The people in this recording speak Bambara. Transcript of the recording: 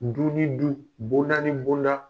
Du ni du bonda ni bonda.